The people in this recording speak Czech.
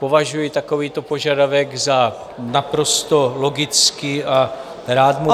Považuji takovýto požadavek za naprosto logický a rád mu vyhovím.